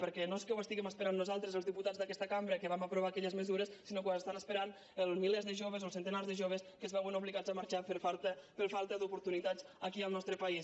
perquè no és que ho estiguem esperant nosaltres els diputats d’aquesta cambra que vam aprovar aquelles mesures sinó que ho estan esperant els milers de joves o els centenars de joves que es veuen obligats a marxar per falta d’oportunitats aquí en el nostre país